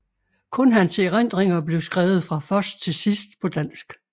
Kun hans erindringer blev skrevet fra først til sidst på dansk